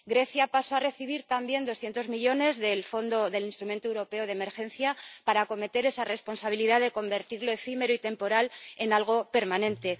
Grecia pasó a recibir también doscientos millones del instrumento europeo de ayuda de emergencia para acometer esa responsabilidad de convertir lo efímero y temporal en algo permanente.